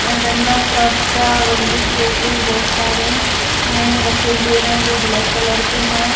इन डंडा फरसा बंदूक जैसी बोहोत सारे रखे हुए हैं जो ब्लैक के हैं।